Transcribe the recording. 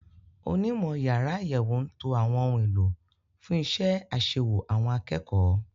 Onímọ̀ yàrá àyẹ̀wò ń to àwọn ohun èlò fún iṣẹ́ àṣewò àwọn akẹ́kọ̀ọ́.